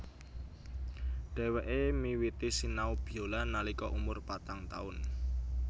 Dhèwèké miwiti sinau biola nalika umur patang taun